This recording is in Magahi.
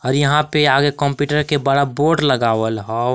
और यहाँ पे आगे कंप्यूटर के बड़ा बोर्ड लगावल हौ।